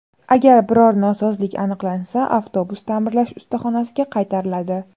Agar biror nosozlik aniqlansa, avtobus ta’mirlash ustaxonasiga qaytariladi.